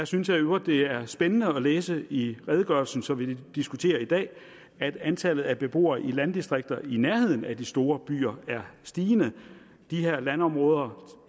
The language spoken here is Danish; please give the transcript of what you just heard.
synes jeg i øvrigt det er spændende at læse i redegørelsen som vi diskuterer i dag at antallet af beboere i landdistrikter i nærheden af de store byer er stigende de her landområder